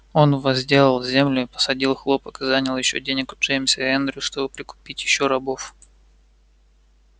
он возделал землю и посадил хлопок и занял ещё денег у джеймса и эндрю чтобы прикупить ещё рабов